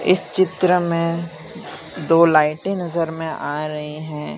इस चित्र में दो लाइटे नजर में आ रहीं हैं।